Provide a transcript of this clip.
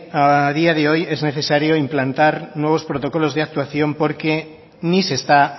a día de hoy es necesario implantar nuevos protocolos de actuación porque ni se está